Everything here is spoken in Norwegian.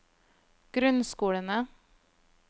grunnskolene